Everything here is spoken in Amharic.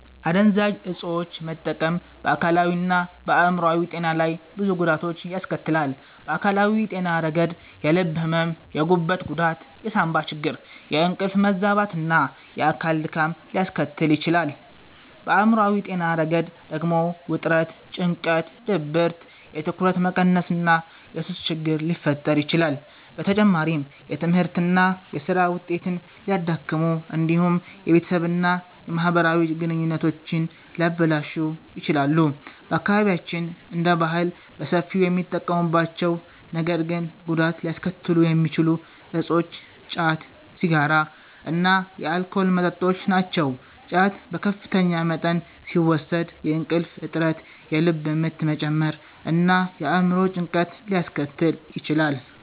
አደንዛዥ ዕፆችን መጠቀም በአካላዊና በአእምሯዊ ጤና ላይ ብዙ ጉዳቶችን ያስከትላል። በአካላዊ ጤና ረገድ የልብ ሕመም፣ የጉበት ጉዳት፣ የሳንባ ችግር፣ የእንቅልፍ መዛባት እና የአካል ድካም ሊያስከትሉ ይችላሉ። በአእምሯዊ ጤና ረገድ ደግሞ ውጥረት፣ ጭንቀት፣ ድብርት፣ የትኩረት መቀነስ እና የሱስ ችግር ሊፈጠር ይችላል። በተጨማሪም የትምህርትና የሥራ ውጤትን ሊያዳክሙ እንዲሁም የቤተሰብና የማህበራዊ ግንኙነቶችን ሊያበላሹ ይችላሉ። በአካባቢያችን እንደ ባህል በሰፊው የሚጠቀሙባቸው ነገር ግን ጉዳት ሊያስከትሉ የሚችሉ እፆች ጫት፣ ሲጋራ እና የአልኮል መጠጦች ናቸው። ጫት በከፍተኛ መጠን ሲወሰድ የእንቅልፍ እጥረት፣ የልብ ምት መጨመር እና የአእምሮ ጭንቀት ሊያስከትል ይችላል።